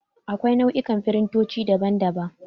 Akwai nau'ikan firintoci, daban daban.